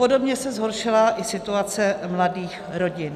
Podobně se zhoršila i situace mladých rodin.